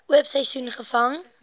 oop seisoen gevang